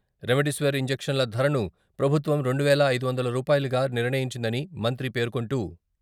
remdesivir ఇంజక్షన్ల ధరను ప్రభుత్వం రెండు వేల ఐదు వందల రూపాయలుగా నిర్ణయించిదని మంత్రి పేర్కొంటూ...